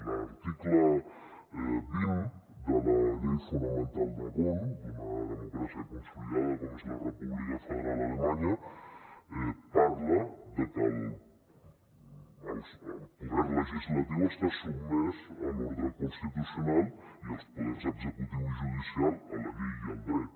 l’article vint de la llei fonamental de bonn d’una democràcia consolidada com és la república federal alemanya parla de que el poder legislatiu està sotmès a l’ordre constitucional i els poders executiu i judicial a la llei i al dret